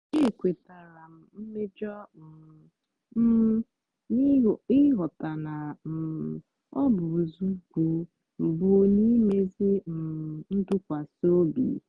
ekwetara m mmejọ um m n'ịghọta na um ọ bụ nzọụkwụ mbụ n'imezi um ntụkwasị obi.